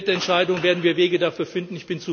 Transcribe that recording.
In der Mitentscheidung werden wir Wege dafür finden.